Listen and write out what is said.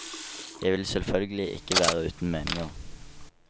Jeg vil selvfølgelig ikke være uten meninger.